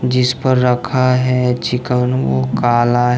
जिस पर रखा है चिकन वो काला है।